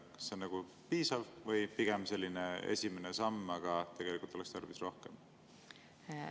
Kas see on piisav või pigem selline esimene samm, aga oleks tarvis rohkem?